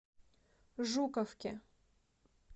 жуковке